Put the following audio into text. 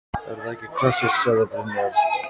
Er það ekki klassískt? sagði Brynjar.